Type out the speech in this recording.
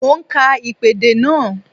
Mo ń ka ìpèdè náà